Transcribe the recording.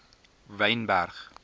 wynberg